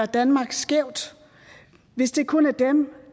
danmark skævt hvis det kun er dem